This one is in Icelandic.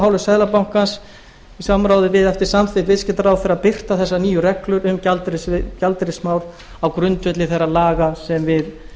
hálfu seðlabankans í samráði við eftir samþykkt viðskiptaráðherra að birta þessar nýju reglur um gjaldeyrismál og á grundvelli þeirra laga sem við